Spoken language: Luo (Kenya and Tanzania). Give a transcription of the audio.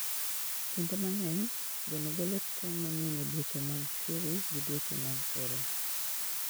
Kinde mang'eny, gweno golo tong' mang'eny e dweche mag chwiri gi dweche mag oro.